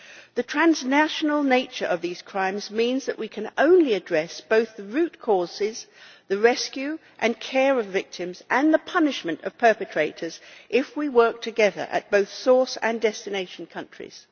The transnational nature of these crimes means that we can only address both the root causes, the rescue and care of victims, and the punishment of perpetrators, if we work together at both source and destination countries.